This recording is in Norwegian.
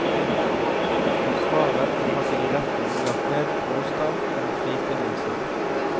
Forsvareren hadde i retten lagt ned påstand om frifinnelse.